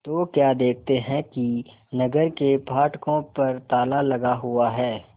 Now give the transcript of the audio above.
तो क्या देखते हैं कि नगर के फाटकों पर ताला लगा हुआ है